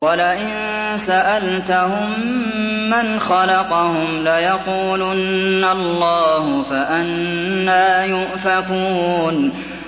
وَلَئِن سَأَلْتَهُم مَّنْ خَلَقَهُمْ لَيَقُولُنَّ اللَّهُ ۖ فَأَنَّىٰ يُؤْفَكُونَ